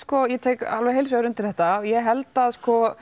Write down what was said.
ég tek alveg heilshugar undir þetta og ég held að